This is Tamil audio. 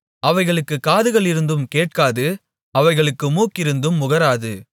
அவைகளுக்குக் காதுகளிருந்தும் கேட்காது அவைகளுக்கு மூக்கிருந்தும் முகராது